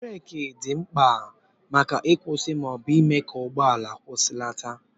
bureki dị mkpa maka ịkwụsị ma ọ bụ ịme ka ụgbọala kwụsịlata